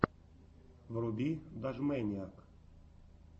вруби дожмэниак